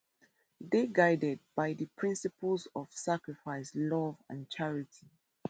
dey guided by di principles of sacrifice love and charity